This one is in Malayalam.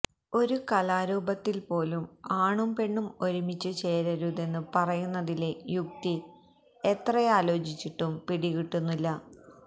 ഒരു കലാരൂപത്തില് പോലും ആണും പെണ്ണും ഒരുമിച്ചു ചേരരുതെന്നു പറയുന്നതിലെ യുക്തി എത്രയാലോചിച്ചിട്ടും പിടികിട്ടുന്നില്ല